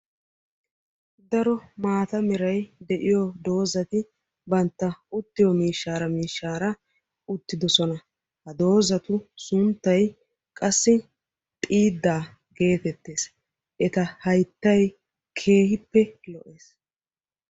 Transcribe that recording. Daro maataa meray de'iyo doozati bantta uttiyo miishshaara miishshaara uttiddossona. Ha doozatu sunttay qassi xiiddaa gettettees eta hayttay keehippe lo'ees.